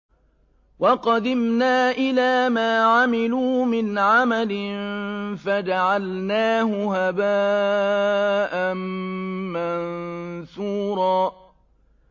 وَقَدِمْنَا إِلَىٰ مَا عَمِلُوا مِنْ عَمَلٍ فَجَعَلْنَاهُ هَبَاءً مَّنثُورًا